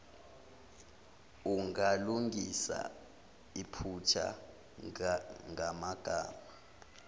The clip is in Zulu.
ungalungisa iphutha kumagama